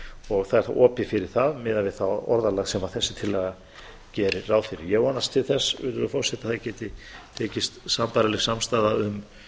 og það er þá opið fyrir það miðað við það orðalag sem þessi tillaga gerir ráð fyrir virðulegur forseti ég vonast til þess að það geti tekist sambærileg samstaða um